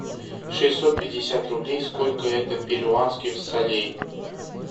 шестьсот пятьдесят рублей сколько это перуанских солей